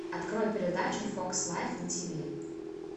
открой передачу фокс лайф на тиви